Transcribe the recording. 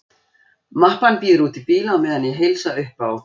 Mappan bíður úti í bíl á meðan ég heilsa upp á